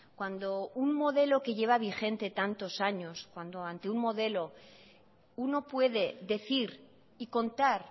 cuando un modelo que lleva vigente tantos años cuando ante un modelo uno puede decir y contar